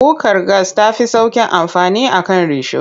Kukar gas ta fi sauƙin amfani a kan risho.